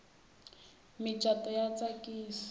micato ya tsakisa